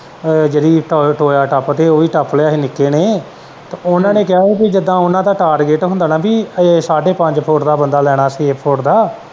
ਤੇ ਜਿਹੜੀ ਟੋਇਆ ਟੱਪਦੇ ਹੀ ਉਹ ਵੀ ਟੱਪ ਲਿਆ ਹੀ ਨਿੱਕੇ ਨੇ ਤੇ ਓਹਨਾ ਨੇ ਕਿਹਾ ਹੀ ਜਿੰਨਾ ਓਹਨਾ ਦਾ target ਹੁੰਦਾ ਨਾ ਕਿ ਕੇ ਸਾਡੇ ਪੰਜ ਫੁੱਟ ਦਾ ਬੰਦਾ ਲੈਣਾ ਕੇ ਛੇ ਫੁੱਟ ਦਾ।